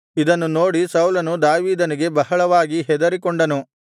ಇದನ್ನು ನೋಡಿ ಸೌಲನು ದಾವೀದನಿಗೆ ಬಹಳವಾಗಿ ಹೆದರಿಕೊಂಡನು